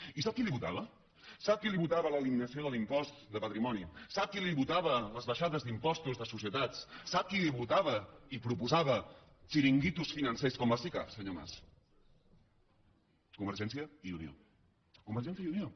i sap qui li ho votava sap qui li votava l’eliminació de l’impost de patrimoni sap qui li votava les baixades d’impostos de societats sap qui li ho votava i proposava xiringuitos financers com les sicav senyor mas convergència i unió convergència i unió